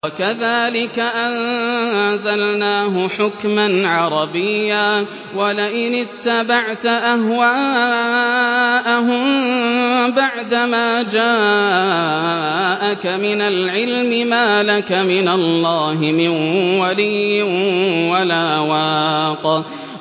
وَكَذَٰلِكَ أَنزَلْنَاهُ حُكْمًا عَرَبِيًّا ۚ وَلَئِنِ اتَّبَعْتَ أَهْوَاءَهُم بَعْدَمَا جَاءَكَ مِنَ الْعِلْمِ مَا لَكَ مِنَ اللَّهِ مِن وَلِيٍّ وَلَا وَاقٍ